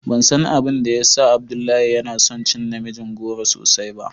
Ban san abin da ya sa Abdullahi ya na son cin namijin goro sosai ba.